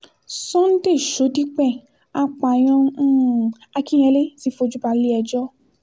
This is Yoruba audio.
sunday shodipẹ̀ apààyàn um akinyẹle ti fojú balẹ̀-ẹjọ́